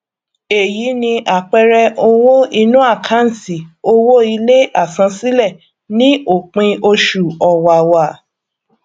eyi ni àpẹẹrẹ owó inú àkántì owó ilé àsansílẹ ní òpin oṣù ọwàwà